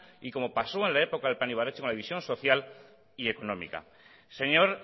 y como pasó en la época del plan ibarretxe con la división social y económica señor